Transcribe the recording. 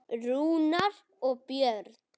Rúnar og Björn.